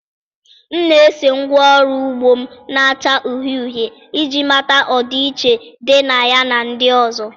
m na-ese ngwá ọrụ ugbo m na-acha uhie uhie iji mata ọdịiche dị na ya na ndị ọzọ.